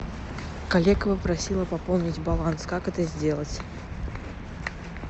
коллега попросила пополнить баланс как это сделать